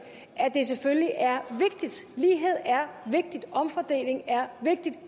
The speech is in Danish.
selvfølgelig er vigtigt lighed er vigtigt omfordeling er vigtigt